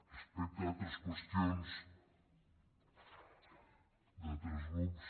respecte a altres qüestions d’altres grups